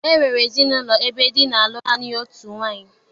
E nwere ezinaụlọ ebe di na-alụ naanị otu nwaanyị.